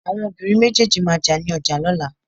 awọn obirín méjèèjì ma jà ni oja lolà